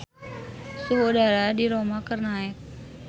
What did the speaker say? Suhu udara di Roma keur naek